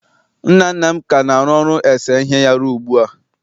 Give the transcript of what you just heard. nna nna m ka na-arụ ọrụ ese ihe ya ruo ugbu a